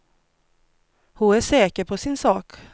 Hon är säker på sin sak.